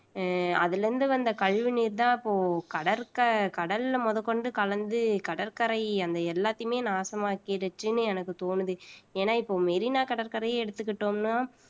அதுல இருந்து வந்த கழிவு நீர்தான் இப்போ கடற்க கடல்ல மொதக்கொண்டு கலந்து கடற்கரை அந்த எல்லாத்தையுமே நாசமாக்கிடுச்சுன்னு எனக்கு தோணுது ஏன்னா இப்ப மெரினா கடற்கரையே எடுத்துக்கிட்டோம்னா